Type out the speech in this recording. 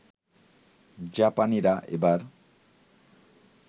জাপানিরা এবার